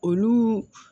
Olu